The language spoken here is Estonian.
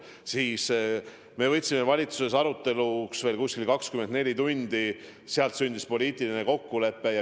Siis me võtsime valitsuses aruteluks veel umbes 24 tundi ja nii sündis poliitiline kokkulepe.